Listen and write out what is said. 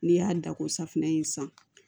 N'i y'a da ko safunɛ in san